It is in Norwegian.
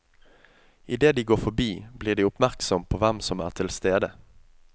I det de går forbi, blir de oppmerksom på hvem som er til stede.